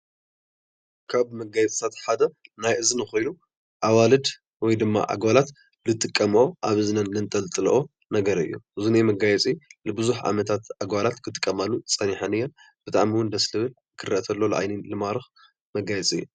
ካብ መጋየፅታት ሓደ ናይ እዝኒ ኾይኑ ኣዋልድ ወይ ድማ ኣጓላት ዝጥቀመኦ ኣብ እዝነን ዘንጠልጥለኦ ነገር እዩ፡፡ እዚ ናይ መጋየፂ ንብዙሕ ዓመታት ኣጓላት ክጥቀማሉ ፀኒሐን እየን ብጣዕሚ ውን ደስ ልብል ክረአ ተሎ ንዓይኒ ልማርኽ ማጋየፂ እዩ፡፡